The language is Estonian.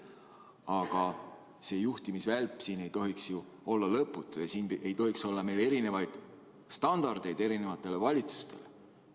Aga see juhtimisvälp siin ei tohiks ju olla lõputu ja siin ei tohiks olla meil erinevaid standardeid eri valitsustele.